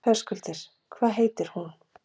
Höskuldur: Hvað heitir hún?